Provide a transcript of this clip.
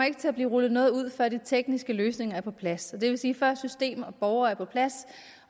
ikke til at blive rullet noget ud før de tekniske løsninger er på plads det vil sige før system og borgere er på plads